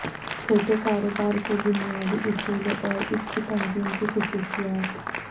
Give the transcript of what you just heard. چھوٹے کاروبار کے بنیادی اصولوں اور اس کی تنظیم کی خصوصیات